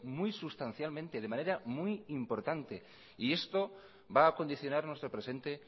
muy sustancialmente de manera muy importante y esto va a condicionar nuestro presente